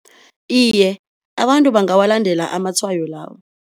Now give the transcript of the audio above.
Iye, abantu bangawalandela amatshwayo lawo.